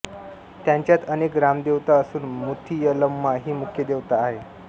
त्यांच्यात अनेक ग्रामदेवता असून मुथियलम्मा ही मुख्य देवता आहे